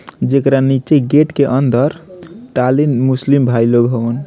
जेकरा नीचे गेट के अंदर तालीम मुस्लिम भाई लोग हवन।